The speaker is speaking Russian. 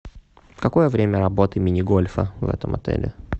какое время работы мини гольфа в этом отеле